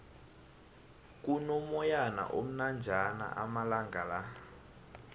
kuno moyana omnanjana amalangala